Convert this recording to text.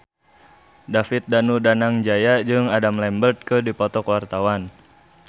David Danu Danangjaya jeung Adam Lambert keur dipoto ku wartawan